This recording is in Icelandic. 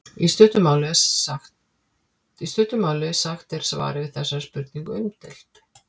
í stuttu máli sagt er svarið við þessari spurningu umdeilt